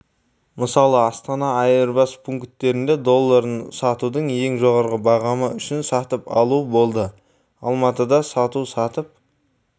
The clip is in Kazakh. мысалы астана айырбас пункттерінде долларын сатудың ең жоғары бағамы үшін сатып алу болды алматыда сату сатып